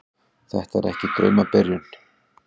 Þetta er ekki draumabyrjun.